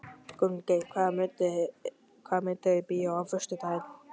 Gunngeir, hvaða myndir eru í bíó á föstudaginn?